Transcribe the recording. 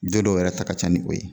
Don dɔw yɛrɛ ta ka can ni o ye.